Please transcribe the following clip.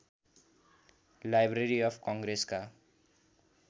library of कङ्ग्रेसका